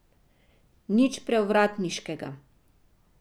Nič prevratniškega.